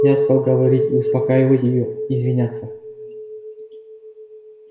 я стал говорить успокаивать её извиняться